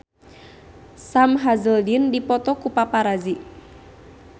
Sam Hazeldine dipoto ku paparazi